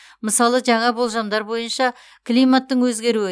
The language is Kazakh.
мысалы жаңа болжамдар бойынша климаттың өзгеруі